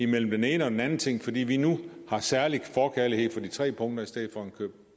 mellem den ene og den anden ting fordi vi nu har en særlig forkærlighed for de tre punkter i stedet for en køb